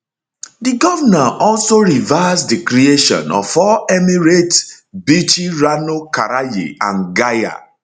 di govnor also reverse di creation of four emirates bichi rano karaye and gaya